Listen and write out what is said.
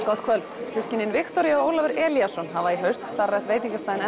gott kvöld systkinin Viktoría og Ólafur Elíasson hafa í haust starfrækt veitingastaðinn